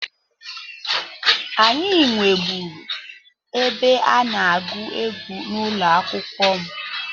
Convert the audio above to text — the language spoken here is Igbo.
Anyị nweburu ebe a na-agụ egwu n'ụlọ akwụkwọ m.